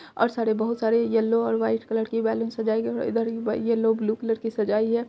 और सारे बहुत सारे येल्लो और वाइट कलर की बैलून सजाई गयी है इधर येल्लो ब्लू कलर की सजाई है।